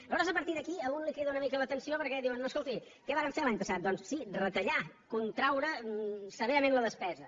aleshores a partir d’aquí a un li crida una mica l’atenció perquè diuen no escolti què varen fer l’any passat doncs sí retallar contraure severament la despesa